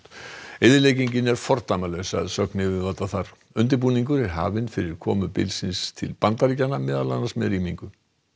eyðileggingin er fordæmalaus að sögn yfirvalda þar undirbúningur er hafinn fyrir komu bylsins í Bandaríkjunum meðal annars með rýmingu